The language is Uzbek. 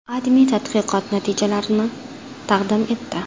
AdMe tadqiqot natijalarini taqdim etdi .